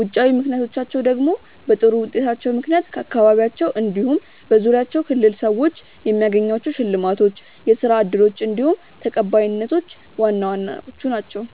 ውጫዊ ምክንያቶቻቸው ደግሞ በጥሩ ውጤታቸው ምክንያት ከአካባቢያቸው እንዲሁም በዙሪያቸው ክልል ሰዎች የሚያገኟቸው ሽልማቶች፣ የስራ እድሎች እንዲሁም ተቀባይነቶች ዋና ዋናዎቹ ናችው።